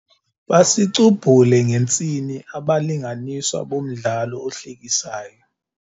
Basicubhule ngentsini abalinganiswa bomdlalo ohlekisayo.